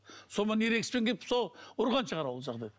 ерегіспен келіп сол ұрған шығар ол